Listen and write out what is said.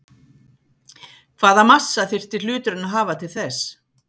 Hvaða massa þyrfti hluturinn að hafa til þess?